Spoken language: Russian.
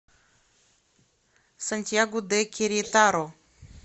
сантьяго де керетаро